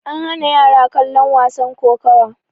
an hana yara kallon wasan kokowa